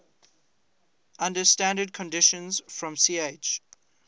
under standard conditions from ch